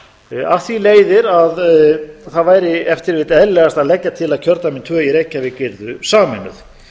kjördæma af því leiðir að það væri ef til vill eðlilegast að leggja til að kjördæmin tvö í reykjavík yrðu sameinuð